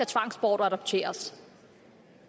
tvangsbortadoptere